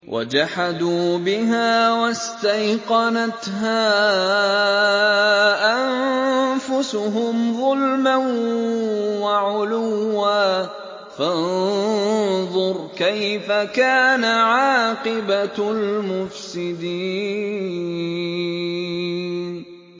وَجَحَدُوا بِهَا وَاسْتَيْقَنَتْهَا أَنفُسُهُمْ ظُلْمًا وَعُلُوًّا ۚ فَانظُرْ كَيْفَ كَانَ عَاقِبَةُ الْمُفْسِدِينَ